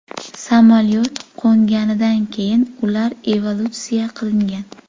Samolyot qo‘nganidan keyin ular evakuatsiya qilingan.